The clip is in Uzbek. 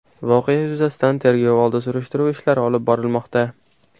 Voqea yuzasidan tergov oldi surishtiruv ishlari olib borilmoqda.